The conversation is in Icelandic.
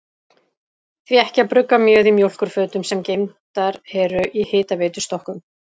Því ekki að brugga mjöð í mjólkurfötum, sem geymdar eru í hitaveitustokkunum?